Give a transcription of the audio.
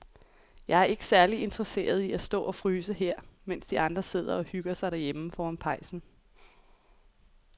Jeg er ikke særlig interesseret i at stå og fryse her, mens de andre sidder og hygger sig derhjemme foran pejsen.